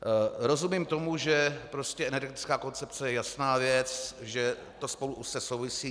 Rozumím tomu, že energetická koncepce je jasná věc, že to spolu úzce souvisí.